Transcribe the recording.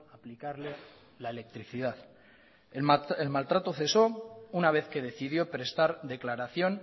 aplicarle la electricidad el maltrato cesó una vez que decidió prestar declaración